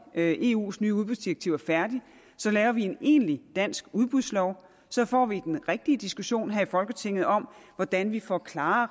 eus nye udbudsdirektiv er færdigt at lave en egentlig dansk udbudslov så får vi den rigtige diskussion her i folketinget om hvordan vi får klare